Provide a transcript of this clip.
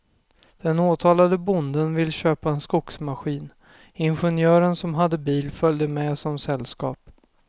Den åtalade bonden ville köpa en skogsmaskin, ingenjören som hade bil följde med som sällskap.